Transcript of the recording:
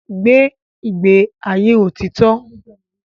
Gbé ìgbé ayé òtítọ́!